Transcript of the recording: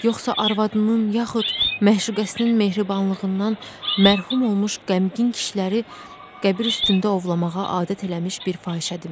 Yoxsa arvadının yaxud məşuqəsinin mehribanlığından məhrum olmuş qəmgin kişiləri qəbir üstündə ovlamağa adət eləmiş bir fahişədimi?